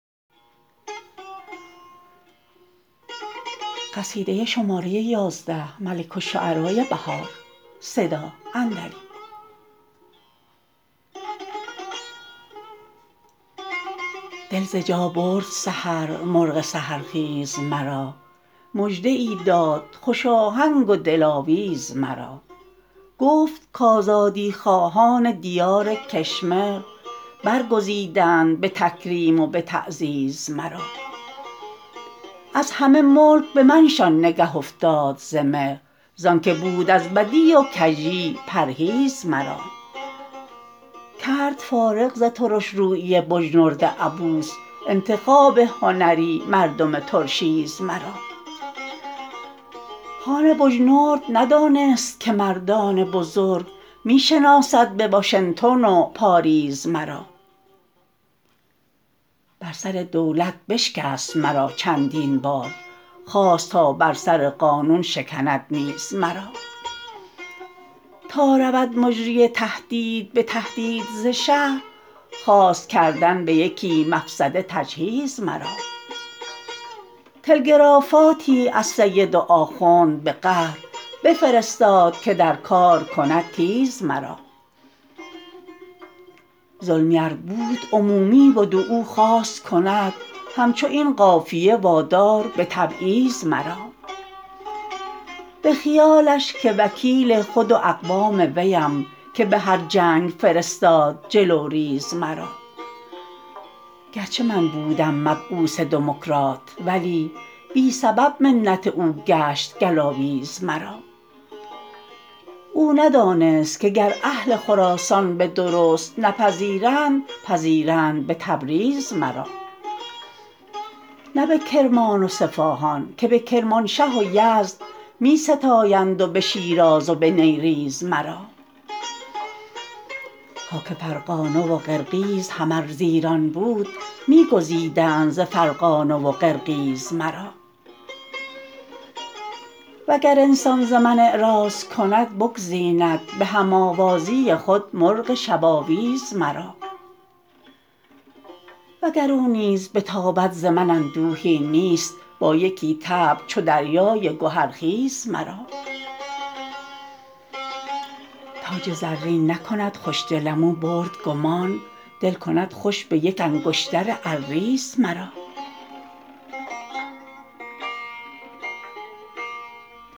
دل ز جا برد سحر مرغ سحرخیز مرا مژده ای داد خوش آهنگ و دلاویز مرا گفت کآزادی خواهان دیار کشمر برگزیدند به تکریم و به تعزیز مرا از همه ملک به منشان نگه افتاد ز مهر زان که بود از بدی و کژی پرهیز مرا کرد فارغ ز ترش رویی بجنورد عبوس انتخاب هنری مردم ترشیز مرا خان بجنورد ندانست که مردان بزرگ می شناسند به واشنتن و پاریز مرا بر سر دولت بشکست مرا چندین بار خواست تا بر سر قانون شکند نیز مرا تا رود مجری تحدید به تهدید ز شهر خواست کردن به یکی مفسده تجهیز مرا تلگرافاتی از سید و آخوند به قهر بفرستاد که در کار کند تیز مرا ظلمی ار بود عمومی بد و او خواست کند همچو این قافیه وادار به تبعیض مرا به خیالش که وکیل خود و اقوام ویم که به هر جنگ فرستاد جلوریز مرا گرچه من بودم مبعوث دموکرات ولی بی سبب منت او گشت گلاویز مرا او ندانست که گر اهل خراسان به درست نپذیرند پذیرند به تبریز مرا نه به کرمان و صفاهان که به کرمانشه و یزد می ستایند و به شیراز و به نیریز مرا خاک فرغانه و قرقیز هم ار زایران بود می گزیدند ز فرغانه و قرقیز مرا وگر انسان ز من اعراض کند بگزیند به هم آوازی خود مرغ شب آویز مرا وگر او نیز بتابد ز من اندوهی نیست با یکی طبع چو دریای گهرخیز مرا تاج زرین نکند خوشدلم او برد گمان دل کند خوش به یک انگشتر ارزیز مرا